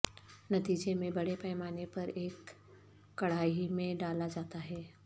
نتیجے میں بڑے پیمانے پر ایک کڑاہی میں ڈالا جاتا ہے